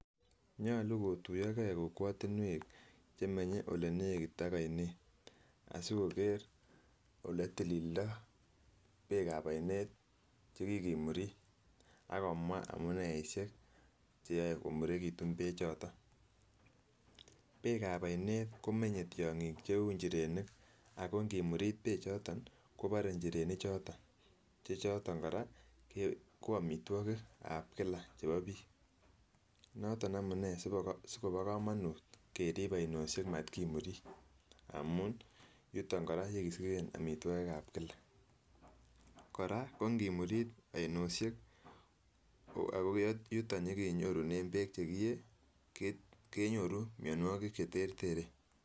Nyolu kotuyo gee kokwotunwek chemenye ole nekit ak oinet asikoker ole itilildo beek ab oinet chekikimuri ak komwaa amuneishek cheyoe komurekitun beek choton. Beek ab oinet komenye tyonkik cheu inchirenik ako inkimurit beek choton kobore ichirenik choton, che choton koraa ko omitwoki ab kila chebo bik noton amunee sikobo komonut kerib oinoshet mokimurit amun yuton koraa yekisiken omitwokik ab kila. Koraa ko ingimurit oinoshek ako yuton yekenyorunen beek chekiyee kenyoru ,mionwokik cheterteren.